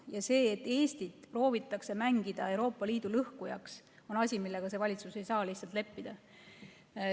Ja see, et Eestit proovitakse mängida Euroopa Liidu lõhkujaks, on asi, millega valitsus ei saa lihtsalt leppida.